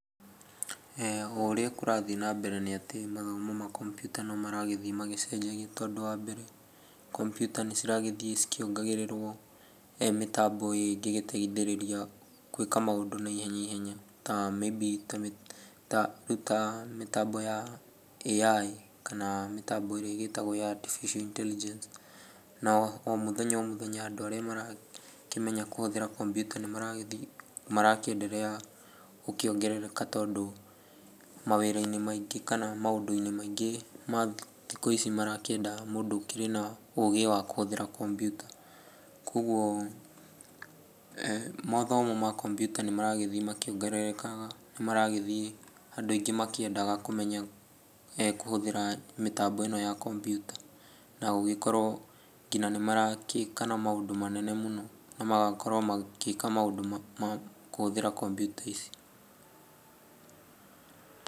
O ũrĩa kũrathiĩ na mbere nĩ ati mathomo ma computer no maragĩthiĩ magĩcenjagia tondũ wa mbere, computer nĩ ciragĩthiĩ cikĩongagĩrĩrwo mĩtambo ingĩgĩteithĩrĩria gwĩka maũndũ na ihenya ihenya. Ta maybe rĩu ta mĩtambo ya AI, kana mĩtambo ĩrĩa ĩgĩtagwo ya Artifical Intelligence. Na o mũthenya o mũthenya andũ arĩa marakĩmenya kũhũthĩra computer nĩ maragĩthiĩ, marakĩenderea gũkĩongerereka tondũ mawĩra-inĩ maingĩ, kana maũndũ-inĩ maingĩ ma thikũ ici marakĩenda mũndũ ũkĩrĩ na ũgĩ wa kũhũthĩra computer. Koguo mathomo ma computer nĩ maragĩthiĩ makĩongererekaga. Nĩ maragĩthiĩ andũ aingĩ makĩendaga kũmenya kũhũthĩra mĩtambo ĩno ya computer, na gũgĩkorwo nginya nĩmaragĩka na maũndũ manene mũno na magakorwo magĩka maũndũ ma kũhũthĩra computer ici.